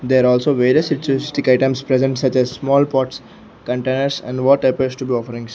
there also various spiritualist items present such a small pots containers and what appears to be offerings.